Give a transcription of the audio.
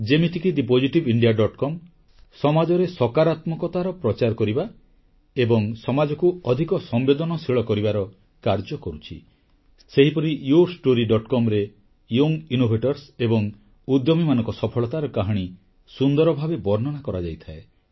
ଯେମିତିକି thepositiveindiacom website ସମାଜରେ ସକାରାତ୍ମକତାର ପ୍ରଚାର କରିବା ଏବଂ ସମାଜକୁ ଅଧିକ ସମ୍ବେଦନଶୀଳ କରିବାର କାର୍ଯ୍ୟ କରୁଛି ସେହିପରି yourstorycom ରେ ଯୁବ ନବସୃଜନକାରୀ ଏବଂ ଉଦ୍ୟମୀମାନଙ୍କ ସଫଳତାର କାହାଣୀ ସୁନ୍ଦର ଭାବେ ବର୍ଣ୍ଣନା କରାଯାଇଥାଏ